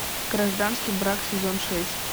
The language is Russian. гражданский брак сезон шесть